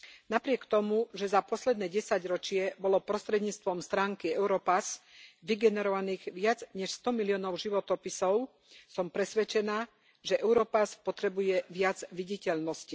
Napriek tomu, že za posledné desaťročie bolo prostredníctvom stránky Europass vygenerovaných viac než 100 miliónov životopisov, som presvedčená, že Europass potrebuje viac viditeľnosti.